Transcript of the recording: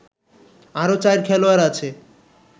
আরও ৪ খেলোয়াড় আছে